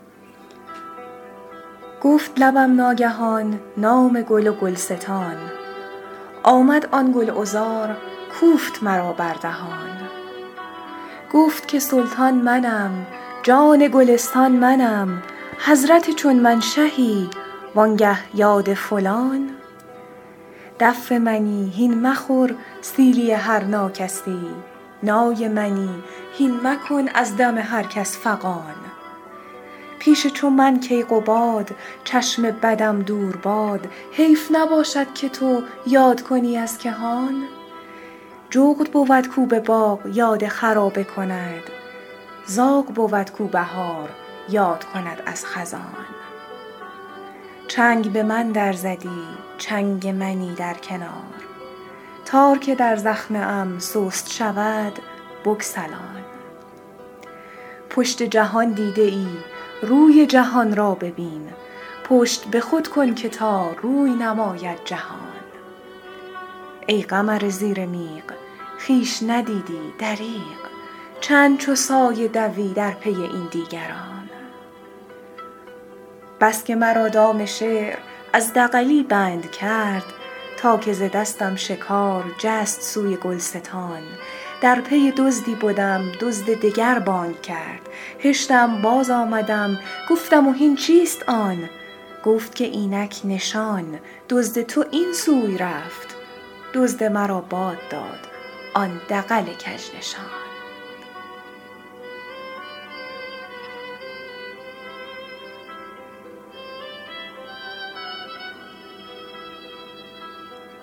گفت لبم ناگهان نام گل و گلستان آمد آن گل عذار کوفت مرا بر دهان گفت که سلطان منم جان گلستان منم حضرت چون من شهی وآنگه یاد فلان دف منی هین مخور سیلی هر ناکسی نای منی هین مکن از دم هر کس فغان پیش چو من کیقباد چشم بدم دور باد حیف نباشد که تو یاد کنی از کهان جغد بود کو به باغ یاد خرابه کند زاغ بود کو بهار یاد کند از خزان چنگ به من در زدی چنگ منی در کنار تار که در زخمه ام سست شود بگسلان پشت جهان دیده ای روی جهان را ببین پشت به خود کن که تا روی نماید جهان ای قمر زیر میغ خویش ندیدی دریغ چند چو سایه دوی در پی این دیگران بس که مرا دام شعر از دغلی بند کرد تا که ز دستم شکار جست سوی گلستان در پی دزدی بدم دزد دگر بانگ کرد هشتم بازآمدم گفتم و هین چیست آن گفت که اینک نشان دزد تو این سوی رفت دزد مرا باد داد آن دغل کژنشان